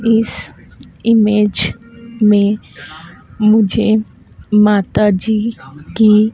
इस इमेज में मुझे माताजी की--